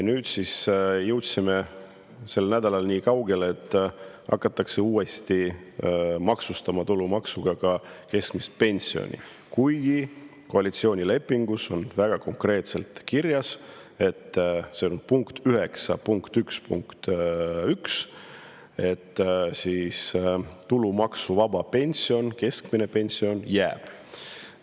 Nüüd siis jõudsime sel nädalal nii kaugele, et hakatakse uuesti maksustama tulumaksuga ka keskmist pensioni, kuigi koalitsioonilepingus on väga konkreetselt kirjas – punkt 9.1.1 –, et keskmise pensioni tulumaksuvabastus jääb.